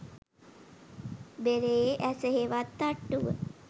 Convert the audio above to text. බෙරයේ ඇස හෙවත් තට්ටුව